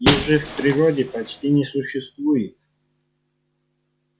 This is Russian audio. их же в природе почти не существует